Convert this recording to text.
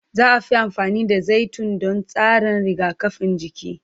Za a fi amfani da zaitun don tsarin rigakafin jiki.